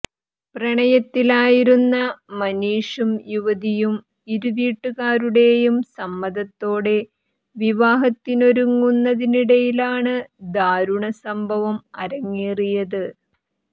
പ്രണയത്തിലായിരുന്ന മനീഷും യുവതിയും ഇരുവീട്ടുകാരുടെയും സമ്മതത്തോടെ വിവാഹത്തിനൊരുങ്ങുന്നതിനിടെയിലാണ് ദാരുണ സംഭവം അരങ്ങേറിയത്